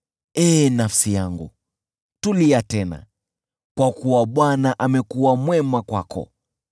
Ee nafsi yangu, tulia tena, kwa kuwa Bwana amekuwa mwema kwako.